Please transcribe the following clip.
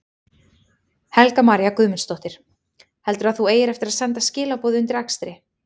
Helga María Guðmundsdóttir: Heldurðu að þú eigir eftir að senda skilaboð undir akstri?